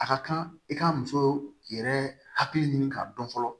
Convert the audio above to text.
A ka kan i ka muso yɛrɛ hakili ɲini k'a dɔn fɔlɔ